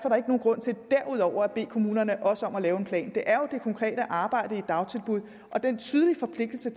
grund til derudover at bede kommunerne om også at lave en plan det er jo det konkrete arbejde i dagtilbuddet og den tydelige forpligtelse